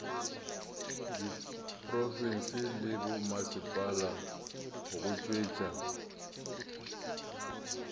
diprofense le bommasepala go tšwetša